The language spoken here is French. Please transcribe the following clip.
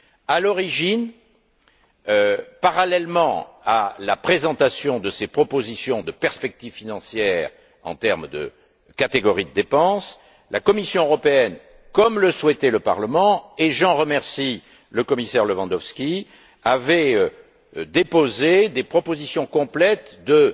À l'origine, parallèlement à la présentation de ses propositions de perspectives financières en termes de catégories de dépenses, la Commission européenne, comme le souhaitait le Parlement et j'en remercie le commissaire Lewandowski avait déposé des propositions complètes de